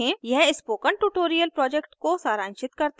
यह spoken tutorial project को सारांशित करता है